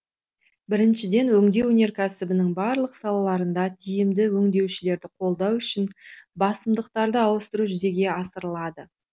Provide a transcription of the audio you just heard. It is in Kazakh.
біріншіден өңдеу өнеркәсібінің барлық салаларында тиімді өңдеушілерді қолдау үшін басымдықтарды ауыстыру жүзеге асырылады